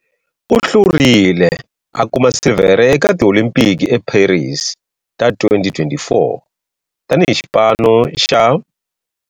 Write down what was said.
U hlurile a kuma silivhere eka tiolimpiki eParis ta 2024 tani hi xiphemu xa xipano xa.